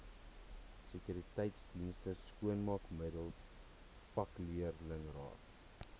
sekuriteitsdienste skoonmaakmiddels vakleerlingraad